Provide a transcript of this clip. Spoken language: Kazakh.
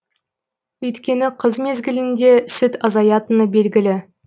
өйткені қыс мезгілінде сүт азаятыны белгілі